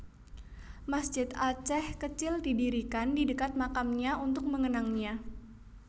Masjid Aceh kecil didirikan di dekat makamnya untuk mengenangnya